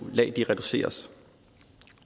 lag reduceres